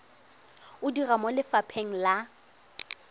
o dira mo lefapheng la